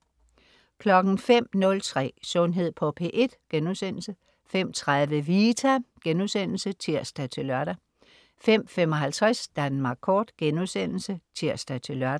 05.03 Sundhed på P1* 05.30 Vita* (tirs-lør) 05.55 Danmark Kort* (tirs-lør)